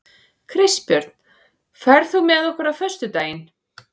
Kristbjörn, ferð þú með okkur á föstudaginn?